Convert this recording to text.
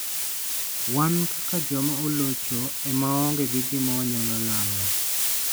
Wan, kaka joma olocho, ema waonge gi gima wanyalo lalo.